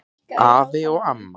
Afi og amma